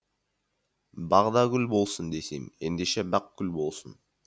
бағдагүл болсын десем ендеше бақгүл болсын